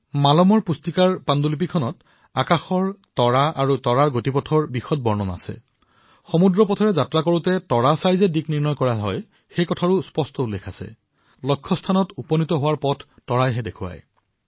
মালমৰ ডায়েৰীত সমুদ্ৰত যাত্ৰা কৰাৰ সময়ত তৰাৰ সহায়ত কিদৰে দিশ নিৰ্দেশনা কৰিব পাৰি লক্ষ্যস্থানত উপনীত হব পাৰি সেয়া বৰ্ণনা কৰা আছে